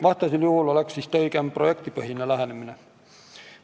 Vastasel juhul oleks vist õigem projektipõhine lähenemine.